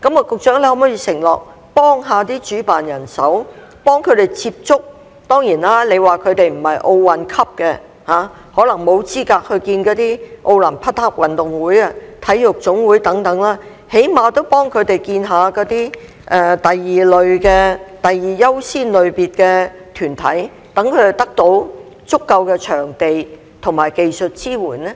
局長可否承諾幫助主辦人接觸......當然，你說他們不是奧運級，可能沒有資格見那些奧林匹克委員會、體育總會等，但最低限度幫助他們見第二優先類別的團體，讓他們得到足夠的場地及技術支援呢？